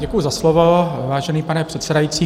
Děkuji za slovo, vážený pane předsedající.